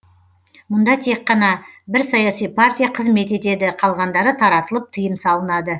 мұнда тек қана бір саяси партия қызмет етеді қалғандары таратылып тыйым салынады